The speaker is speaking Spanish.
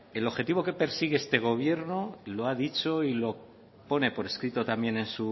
que el objetivo que persigue este gobierno lo ha dicho y pone por escrito también en